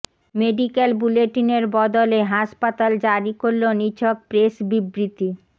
medical বুলেটিনের বদলে হাসপাতাল জারি করল নিছক প্রেস বিবৃতি